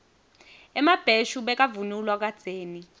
emabheshu bekavunulwa kadzeni